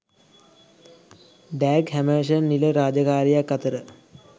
Dag Hammarskjold නිල රාජකාරියක් අතර